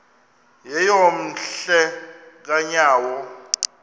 yeyom hle kanyawo